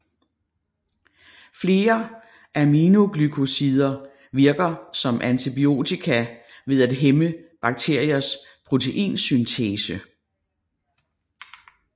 Flere aminoglykosider virker som antibiotika ved at hæmme bakteriers proteinsyntese